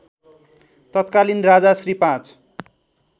तत्कालीन राजा श्री ५